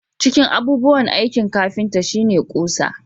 Cikin abubuwan aikin kafinta shi ne ƙusa